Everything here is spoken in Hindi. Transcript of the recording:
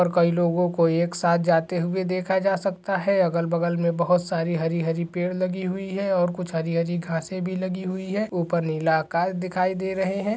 --और कई लोगों को एक साथ जाते हुए देखा जा सकता है अगल बगल मे बहुत सारी हरी हरी पेड़ लगी हुई है और कुछ हरी हरी घासे भी लगी हुई है ऊपर नीला आकाश दिखाई दे रहे है।